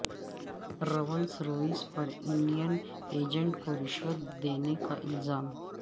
rules Royce پر Indian agent کو رشوت دینے کا الزام